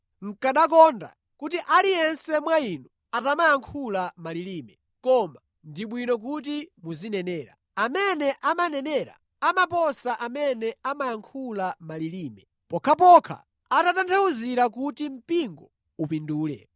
Nʼkanakonda kuti aliyense mwa inu atamayankhula malilime, koma ndi bwino kuti muzinenera. Amene amanenera amaposa amene amayankhula malilime, pokhapokha atatanthauzira kuti mpingo upindule.